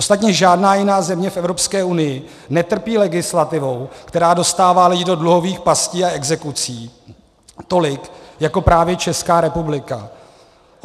Ostatně žádná jiná země v Evropské unii netrpí legislativou, která dostává lidi do dluhových pastí a exekucí, tolik jako právě Česká republika.